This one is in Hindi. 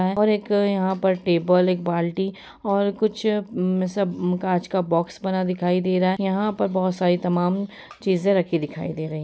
और एक यहाँ पर एक टेबल एक बाल्टी और कुछ सब कांच का बॉक्स बना दिखाई दे रहा है यहाँ पर बहुत सारी तमाम चींज़े रखी दिखाई दे रही --